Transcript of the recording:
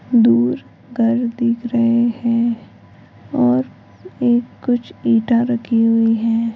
दूर घर दिख रहे हैं और एक कुछ ईटा रखी हुई है।